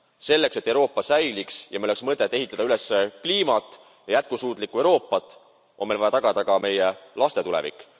Selleks et Euroopa säiliks ja meil oleks mõtet ehitada üles kliimat ja jätkusuutlikku Euroopat, on meil vaja tagada ka meie laste tulevik.